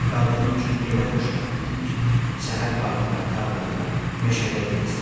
Tək qaldığım üçün elə xoşbəxt idim ki, səhər bağda, tarlada, meşədə gəzdim.